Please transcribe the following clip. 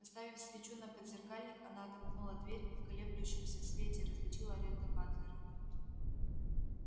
поставив свечу на подзеркальник она отомкнула дверь и в колеблющемся свете различила ретта батлера